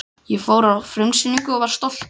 Ég fór á frumsýningu og var stoltur.